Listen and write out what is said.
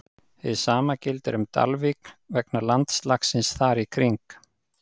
Hið sama gildir um Dalvík vegna landslagsins þar í kring.